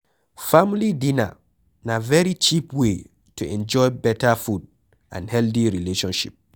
Family dinner na very cheap way to enjoy better food and healthy relationship